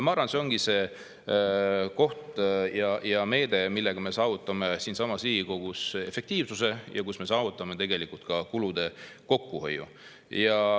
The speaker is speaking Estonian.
Ma arvan, et see ongi see koht ja meede, millega me saavutame siinsamas Riigikogus efektiivsuse ja tegelikult ka kulude kokkuhoiu.